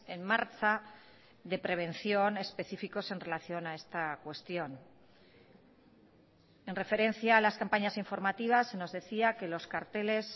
en marcha de prevención específicos en relación a esta cuestión en referencia a las campañas informativas se nos decía que los carteles